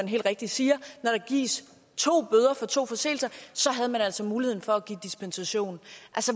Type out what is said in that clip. helt rigtig siger når der gives to bøder for to forseelser så havde man altså muligheden for at give dispensation